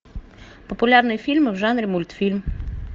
популярные фильмы в жанре мультфильм